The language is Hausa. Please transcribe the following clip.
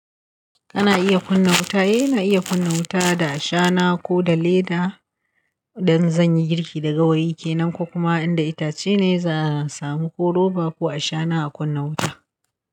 Kana iya kunna wuta, eh ina iya kunna wuta da shana ko da lighter, idan zan yi girki da gawayi kenan ko kuma inda itace ne za a samu ko roba ko a shana a kunna wuta.